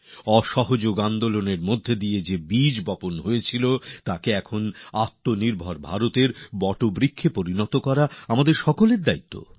অসহযোগ আন্দোলন রূপে যে বীজ বপন করা হয়েছিল তাকে এখন আত্মনির্ভর ভারতের বটবৃক্ষতে পরিবর্তিত করা আমাদের সকলের দায়িত্ব